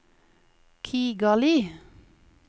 Kigali